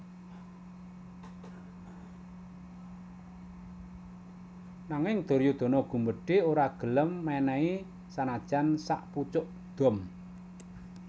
Nanging Duryudana gumbedhe ora gelem menehi sanajan sakpucuk dom